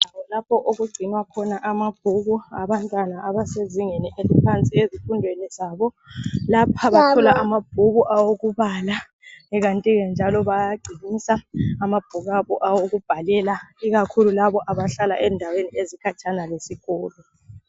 Lapho okugcinwa khona amabhuku abantwana abasezingeni eliphansi ezifundweni zabo, lapha kakhulu amabhuku awokubala, kanti ke njalo bayagcinisa amabhuku abo awokubhalela, ikakhulu labo abahlala endaweni ezikhatshana lesikolo